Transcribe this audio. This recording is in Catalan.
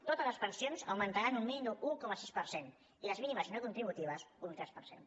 totes les pensions augmentaran un mínim d’un un coma sis per cent i les mínimes i no contributives un tres per cent